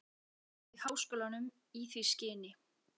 á lóð þeirri háskólanum í því skyni